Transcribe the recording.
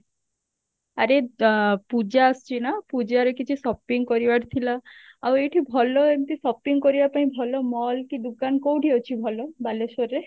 ଆରେ ଆ ପୂଜା ଆସୁଛି ନା ପୂଜାରେ କିଛି shopping କରିବାର ଥିଲା ଆଉ ଏଇଠି ଭଲ ଏମିତି shopping କରିବା ପାଇଁ ଭଲ mall କି ଦୁକାନ କଉଠି ଅଛି ଭଲ ବାଲେଶ୍ଵର ରେ?